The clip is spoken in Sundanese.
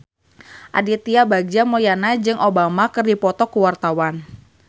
Aditya Bagja Mulyana jeung Obama keur dipoto ku wartawan